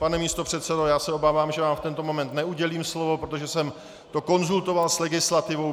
Pane místopředsedo, já se obávám, že vám v tento moment neudělím slovo, protože jsem to konzultoval s legislativou.